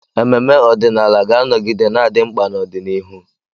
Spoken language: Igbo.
Ememe ọdịnala ga-anọgide na-adị mkpa n'ọdịnihu.